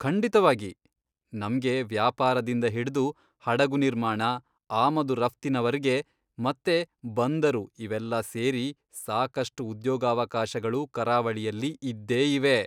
ಖಂಡಿತವಾಗಿ! ನಮ್ಗೆ ವ್ಯಾಪಾರದಿಂದ ಹಿಡ್ದು ಹಡಗು ನಿರ್ಮಾಣ, ಆಮದು ರಫ್ತಿನವರ್ಗೆ, ಮತ್ತೆ ಬಂದರು ಇವೆಲ್ಲ ಸೇರಿ, ಸಾಕಷ್ಟು ಉದ್ಯೋಗಾವಕಾಶಗಳು ಕರಾವಳಿಯಲ್ಲಿ ಇದ್ದೇ ಇವೆ.